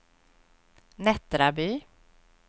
Nättraby